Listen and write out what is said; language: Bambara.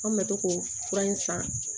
An kun bɛ to k'o fura in san